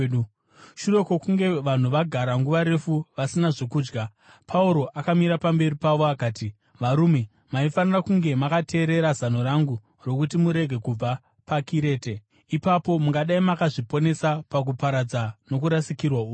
Shure kwokunge vanhu vagara nguva refu vasina zvokudya, Pauro akamira pamberi pavo akati, “Varume, maifanira kunge makateerera zano rangu rokuti murege kubva paKirete; ipapo mungadai makazviponesa pakuparadza nokurasikirwa uku.